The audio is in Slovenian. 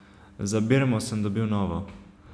Za birmo sem dobil novo.